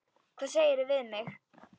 Hvað segirðu við mig?